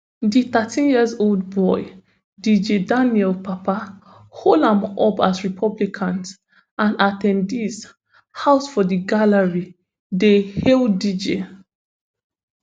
di thirteen year old boy dj daniel papa hold am up as republicans and at ten dees house for di gallery dey hail dj